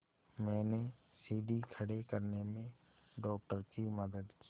मैंने सीढ़ी खड़े करने में डॉक्टर की मदद की